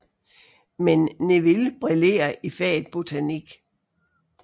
Men Neville brillerer i faget botanik